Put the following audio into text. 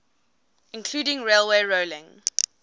including railway rolling